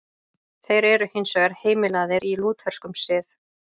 Þeir eru hins vegar heimilaðir í lútherskum sið.